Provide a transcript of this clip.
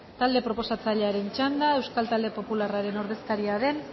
talde proposatzailearen txanda euskal talde popularraren ordezkari den